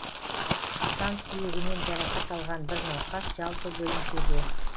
сан сүйегінен жарақат алған бір науқас жалпы бөлімшеде